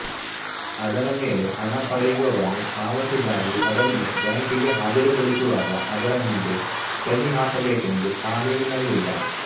ಅದರ ಮೇಲೆ ಹಣ ಪಡೆಯುವವನು ಪಾವತಿಗಾಗಿ ಅದನ್ನು ಬ್ಯಾಂಕಿಗೆ ಹಾಜರು ಪಡಿಸುವಾಗ ಅದರ ಹಿಂದೆ ಸಹಿ ಹಾಕಬೇಕೆಂದು ಕಾನೂನಿನಲ್ಲಿಲ್ಲ